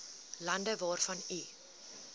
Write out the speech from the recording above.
land waarvan u